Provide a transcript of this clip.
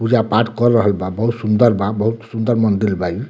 पूजा-पाठ कर रहल बा बहुत सुन्दर बा बहुत सुन्दर मंदिल बा इ।